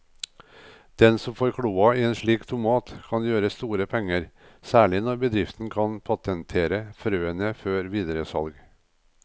Den som får kloa i en slik tomat kan gjøre store penger, særlig når bedriften kan patentere frøene før videre salg.